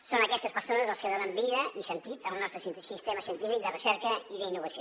són aquestes persones les que donen vida i sentit al nostre sistema científic de recerca i d’innovació